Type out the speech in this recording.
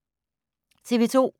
TV 2